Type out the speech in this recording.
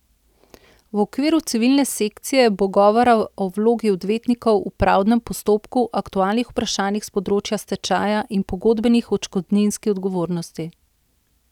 V okviru civilne sekcije bo govora o vlogi odvetnikov v pravdnem postopku, aktualnih vprašanjih s področja stečaja in pogodbeni odškodninski odgovornosti.